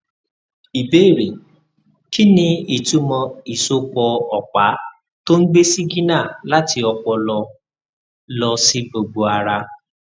ìbéèrè kí ni ìtumọ ìsopọ ọpá tó ń gbé sígínà láti ọpọlọ lọ sí gbogbo ara